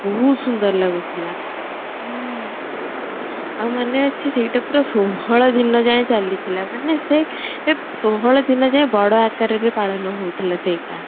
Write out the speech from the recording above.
ବହୁତ ସୁନ୍ଦର ଲାଗୁ ଥିଲା ଆଉ ମନେ ଅଛି ସେଇଟା ପୁରା ଷୋହଳ ଦିନ ଯାଇଁ ଚାଲି ଥିଲା ମାନେ ସେ ସେ ଷୋହଳ ଦିନ ଯାଇଁ ବଡ ଆକାର ରେ ପାଳନ ହୋଉ ଥିଲା ସେଇଟା